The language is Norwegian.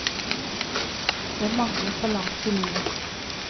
Jeg mangler litt balanse i livet.